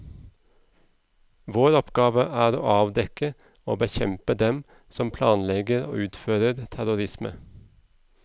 Vår oppgave er å avdekke og bekjempe dem som planlegger og utfører terrorisme.